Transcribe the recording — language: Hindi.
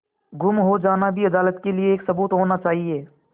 गुम हो जाना भी अदालत के लिये एक सबूत होना चाहिए